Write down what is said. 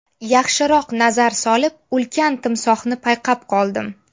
Yaxshiroq nazar solib, ulkan timsohni payqab qoldim.